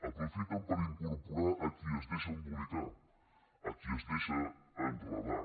aprofiten per incorporar a qui es deixa embolicar a qui es deixa enredar